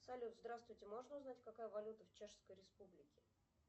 салют здравствуйте можно узнать какая валюта в чешской республике